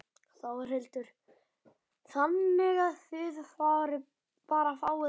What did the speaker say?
Þórhildur: Þannig að þið bara fáið ekki nóg?